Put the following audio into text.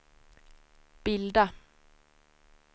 bilda